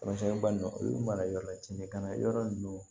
Kɔrɔsiyɛnni ba ninnu olu mara yɔrɔ la cɛncɛn ka na yɔrɔ ninnu